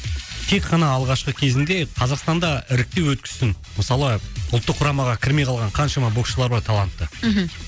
тек қана алғашқы кезінде қазақстанда іріктеу өткізсін мысалы ұлттық құрамаға кірмей қалған қаншама боксшылар бар талантты мхм